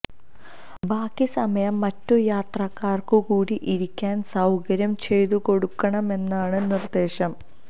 ബാക്കി സമയം മറ്റു യാത്രക്കാര്ക്കു കൂടി ഇരിക്കാന് സൌകര്യം ചെയ്തുകൊടുക്കണമെന്നാണ് നിര്ദേശം